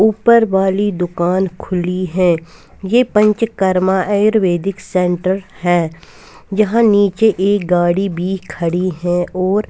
ऊपर वाली दुकान खुली है ये पंचकर्मा आयुर्वेदिक सेंटर है यहाँ नीचे एक गाड़ी भी खड़ी है और --